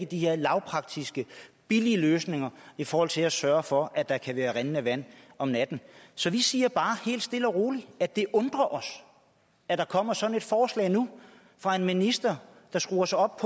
de her lavpraktiske billige løsninger i forhold til at sørge for at der kan være rindende vand om natten så vi siger bare helt stille og roligt at det undrer os at der kommer sådan et forslag nu fra en minister der skruer sig op